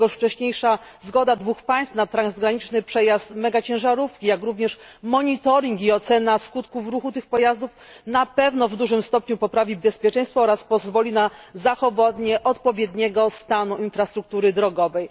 Dlatego wcześniejsza zgoda dwóch państw na transgraniczny przejazd megaciężarówek, jak również monitorowanie i ocena skutków ruchu tych pojazdów na pewno w dużym stopniu poprawi bezpieczeństwo oraz pozwoli na zachowanie odpowiedniego stanu infrastruktury drogowej.